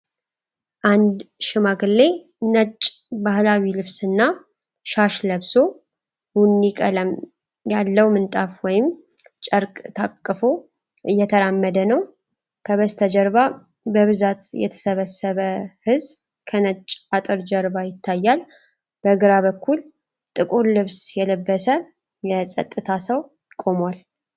አንድ ሽማግሌ ነጭ ባህላዊ ልብስና ሻሽ ለብሶ፣ ቡኒ ቀለም ያለው ምንጣፍ ወይም ጨርቅ ታቅፎ እየተራመደ ነው። ከበስተጀርባ በብዛት የተሰበሰበ ሕዝብ ከነጭ አጥር ጀርባ ይታያል። በግራ በኩል ጥቁር ልብስ የለበሰ የፀጥታ ሰው ቆሟል።